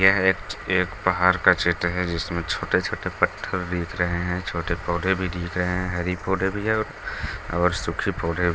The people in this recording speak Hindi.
यह एक-एक पहाड़ का चित्र है जिसमें छोटे-छोटे पत्थर दिख रहे हैं छोटे पौधे भी दिख रहे हैं हरी पौधे भी है और सुखी पौधे भी।